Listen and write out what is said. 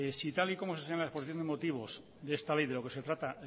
si tal y como se señala en la exposición de motivos de esta ley de lo que se trata